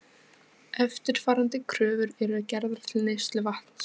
Eftirfarandi kröfur eru gerðar til neysluvatns